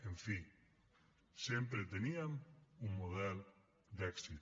en fi sempre teníem un model d’èxit